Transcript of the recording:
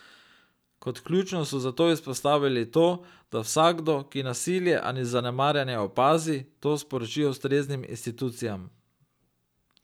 Kot ključno so zato izpostavili to, da vsakdo, ki nasilje ali zanemarjanje opazi, to sporoči ustreznim institucijam.